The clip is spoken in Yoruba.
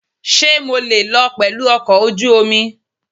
Ṣé mo lè lọ pẹ̀lú ọkọ̀ ojú omi?